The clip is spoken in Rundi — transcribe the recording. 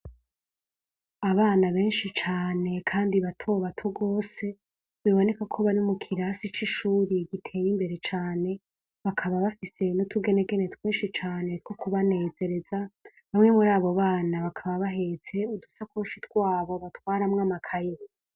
Abana benshi cane kandi bato bato gose biboneka ko bari mukirasi c'ishure gitembeye imbere cane bakaba bafise n'utugenegene twinshi cane two kubanezereza bamwe murabo bana bakaba bahetse udusakoshi twabo batwaramwo amakaye.